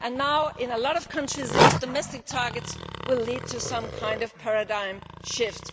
Now in a lot of countries, these domestic targets will lead to some kind of paradigm shift.